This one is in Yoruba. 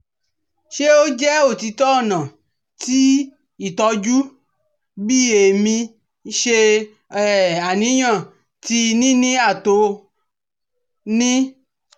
Ṣe o jẹ otitọ ọna ti itọju bi emi ṣe aniyan ti nini ato nil